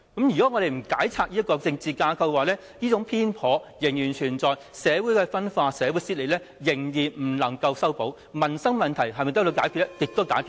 如果我們不解拆這種政治架構，這種偏頗仍然存在，社會間的分化、撕裂，仍然未能修補，民生問題亦無從解決。